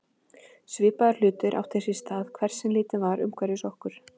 Svipaðir hlutir áttu sér stað hvert sem litið var umhverfis okkur.